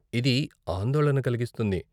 ఇది ఆందోళన కలిగిస్తుంది.